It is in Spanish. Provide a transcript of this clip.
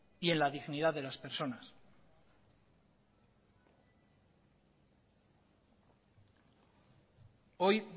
y en la dignidad de las personas hoy